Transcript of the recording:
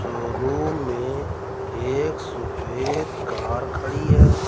Showroom में एक सफेद कार खड़ी है।